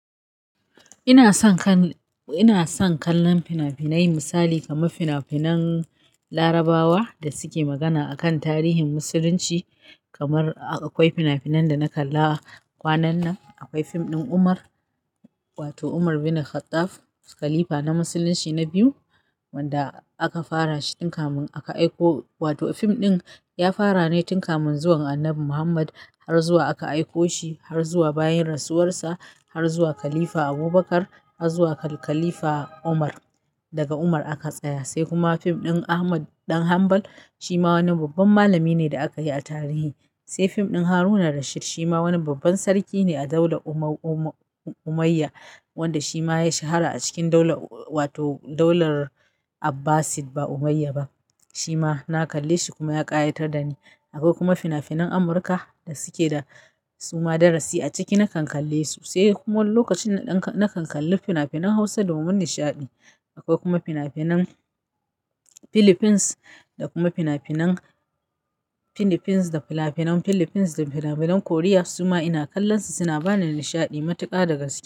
Ina son kallon fina-finai misali kamar fina-finan Larabawa da suke magana akan tarihin Musulunci kamar akwai fina-finan da na kalla kwanan nan. Akwai fim ɗin Umar wato Umar bin Khattab, khalifa na Musulunci na biyu wanda aka fara shi tun kafin aka aiko wato fim ɗin ya fara ne tun kamun zuwan Annabi Muhammad har zuwa aka aiko shi har zuwa bayan rasuwarsa har zuwa khalifa Abubakar har zuwa khalifa Umar. Daga Umar aka tsaya sai kuma fim ɗin Ahmad ɗan Hanbal shima wani babban malami ne da aka yi a tarihi. Sai fim ɗin Haruna Rashir shima wani babban sarki ne a daular Umayya wanda shi ma ya yi shahara a cikin daular wato daular Abbasid ba Umayya ba. Shi ma na kalle shi kuma ya ƙayatar da ni. Akwai kuma fina-finan Amurka da suke da suma darasi a ciki na kan kalle su sai kuma lokacin da na kan kalli fina-finan Hausa domin nishaɗi. Akwai kuma fina-finan Philippines da kuma fina-finan Philippines da fina-finan Philippines da fina-finan Korea suma ina kallonsu suna bani nishaɗi matuƙa daga su.